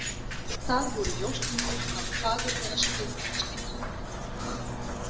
Þar voru ljósmyndir af fagurlega skrifuðu skinnhandriti.